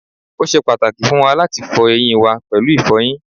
o ṣe pàtàkì fún wa láti fọ eyín wa pẹ̀lú ìfọyín